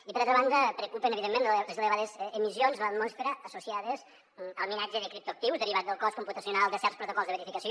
i per altra banda preocupen evidentment les elevades emissions a l’atmosfera associades al minatge de criptoactius derivat del cost computacional de certs protocols de verificació